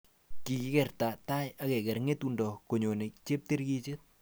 Kikinakte tai akeker ngetundo koyone cheptikirchet